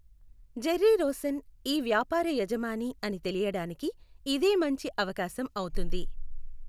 Jerry Rosen ఈ వ్యాపార యజమాని అని తెలియడానికి ఇదే మంచి అవకాశం అవుతుంది.